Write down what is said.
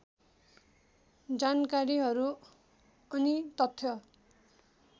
जानकारीहरू अनि तथ्य